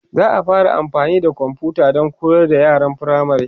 za'a fara amfani da komfuta Dan koyar da yaran firamare